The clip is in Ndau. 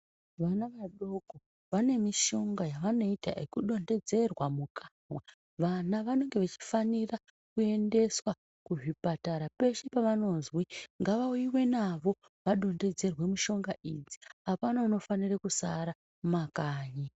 Vana vadoko vane mishonga yavano ita yeku dondedzerwa mukanwa vana vanenge vechi fanira ku endeswa ku zvipatara peshe pa vanozwe ngava uyiwe navo va dondedzerwe mushonga idzi apana uno fanire kusara mu makanyi.